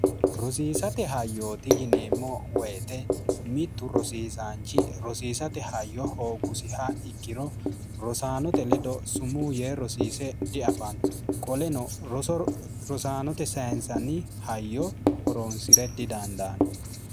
rosiisate hayyooti yineemmo woyite mittu rosiisaanchi rosiisate hayyo hooggusiha ikkiro rosaanote ledo sumuu yee rosiise diafanno qoleno roorosaanote sayinsanni hayyo horoonsi're didandaanno